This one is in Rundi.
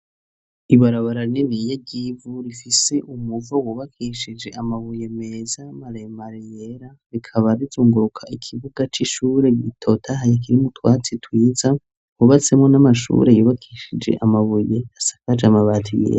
Ibarabara rininiya ry'yivu rifise umuvo wubakishije amabuye meza maremare yera rikaba rizunguruka ikibuga c'ishure gitotahaye kirimwo utwatsi twiza, wubatsemo n'amashure yubakishije amabuye asakaje amabati yera.